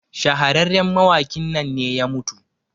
shahararren mawakin nan ne ya mutu